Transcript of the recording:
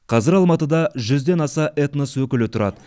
қазір алматыда жүзден аса этнос өкілі тұрады